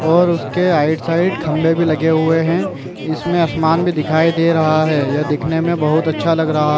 और उसके आइट -साइड खम्बे भी लगे हुए है इसमें आसमान भी दिखाई दे रहा है यह दिखने में बहुत अच्छा लग रहा है।